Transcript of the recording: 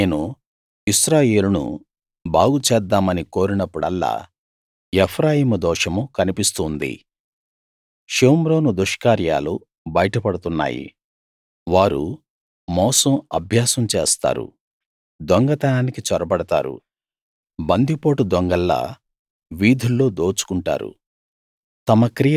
నేను ఇశ్రాయేలును బాగు చేద్దామని కోరినప్పుడల్లా ఎఫ్రాయిము దోషం కనిపిస్తూ ఉంది షోమ్రోను దుష్కార్యాలు బయటపడుతున్నాయి వారు మోసం అభ్యాసం చేస్తారు దొంగతనానికి చొరబడతారు బంది పోటు దొంగల్లా వీధుల్లో దోచుకుంటారు